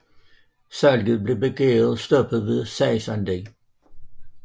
Salget blev begæret stoppet ved sagsanlæg